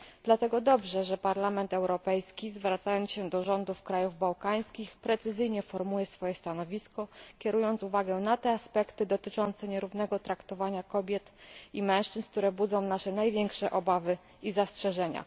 Dlatego dobrze, że Parlament Europejski, zwracając się do rządów krajów bałkańskich, precyzyjnie formułuje swoje stanowisko, kierując uwagę na te aspekty dotyczące nierównego traktowania kobiet i mężczyzn, które budzą nasze największe obawy i zastrzeżenia.